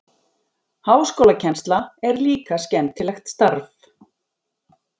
Háskólakennsla er líka skemmtilegt starf.